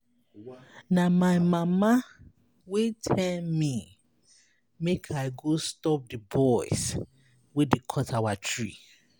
Na my mama wey tell me make I go stop the boys wey dey cut our tree.